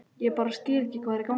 Ég bara skil ekki hvað er í gangi.